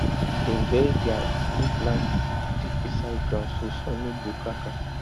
dem bury their drip line deep inside ground so sun no go crack am